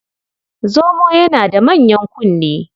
Zomo yana da manyan kunne.